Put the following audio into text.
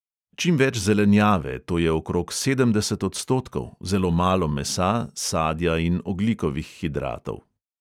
Čim več zelenjave, to je okrog sedemdeset odstotkov, zelo malo mesa, sadja in ogljikovih hidratov.